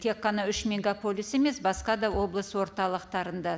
тек қана үш мегаполис емес басқа да облыс орталықтарында